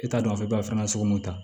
E t'a dɔn foyi b'a sugu mun na